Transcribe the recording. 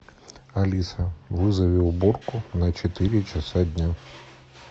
алиса вызови уборку на четыре часа дня